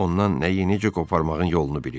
Ondan nəyi necə qoparmağın yolunu bilir.